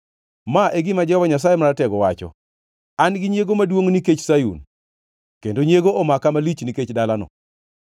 Ma e gima Jehova Nyasaye Maratego wacho: “An gi nyiego maduongʼ nikech Sayun; kendo nyiego omaka malich nikech dalano.”